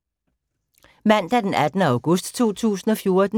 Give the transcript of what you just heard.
Mandag d. 18. august 2014